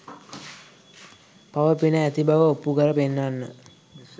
පව පින ඇති බව ඔප්පු කර පෙන්වන්න.